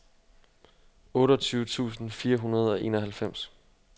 otteogtyve tusind fire hundrede og enoghalvfems